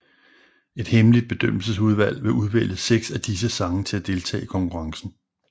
Et hemmeligt bedømmelsesudvalg vil udvælge seks af disse sange til at deltage i konkurrencen